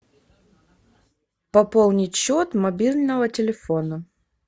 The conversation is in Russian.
пополнить счет мобильного телефона